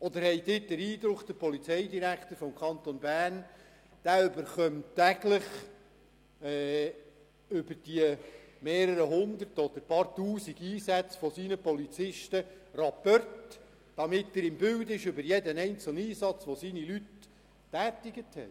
Oder haben Sie den Eindruck, der Polizeidirektor des Kantons Bern erhalte täglich über die mehreren Hundert oder Tausend Einsätze seiner Polizisten Rapporte, damit er über jeden einzelnen Einsatz im Bild ist, den seine Leute tätigten?